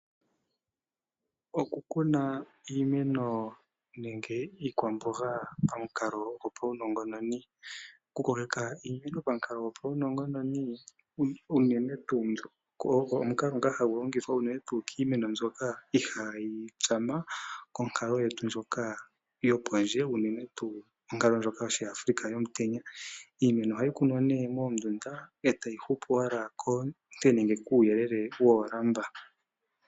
Oku kuna iimeno nenge iikwamboga pamukalo go pa unongononi. Oku ko keka iimene pamukalo ga pa unongononi ogo omukalo ngoka ha gu longithwa unene tu kiimeno mbyoka iha yi tsama konkalo yetu ndjoka yopondje unene tu onkalo ndjoka yoshi Afrika yomutenya. Iimeno ohayi kunwa ne mondunda eta yi hupu owala koonte nenge uuyelele woolamba.